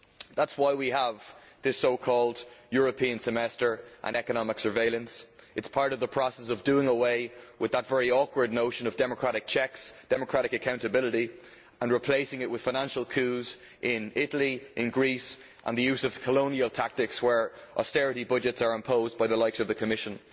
That is why we have this so called European Semester' and economic surveillance'. It is part of the process of doing away with that very awkward notion of democratic checks, democratic accountability, and replacing it with financial coups in Italy and in Greece and the use of colonial tactics where austerity budgets are imposed by the likes of the Commission.